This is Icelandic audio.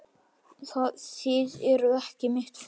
Þið eruð ekki mitt fólk.